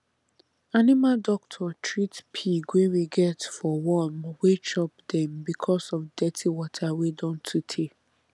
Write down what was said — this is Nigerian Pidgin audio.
animal doctor treat pig wey we get for worm wey chop dem because of dirty water wey don too tey